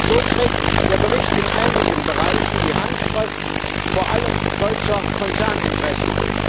So trägt der Bericht in einigen Bereichen die Handschrift vor allem deutscher Konzerninteressen.